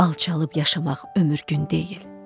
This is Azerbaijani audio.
Alçalıb yaşamaq ömür gün deyil.